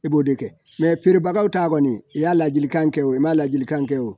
I b'o de kɛ perebagaw ta kɔni ye i y'a ladilikan kɛ o ma ladilikan kɛ o